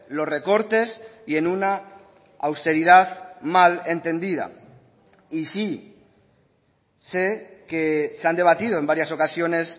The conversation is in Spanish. los recortes y en una austeridad mal entendida y sí sé que se han debatido en varias ocasiones